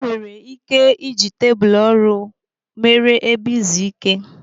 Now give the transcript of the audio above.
E nwere ike iji tebụlu ọrụ mere ebe izu ike.